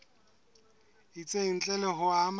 itseng ntle le ho ama